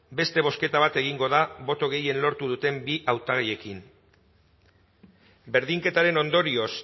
beste bozketa bat egingo da boto gehien lortu duten bi hautagaiekin berdinketaren ondorioz